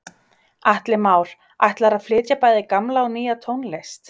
Atli Már: Ætlarðu að flytja bæði gamla og nýja tónlist?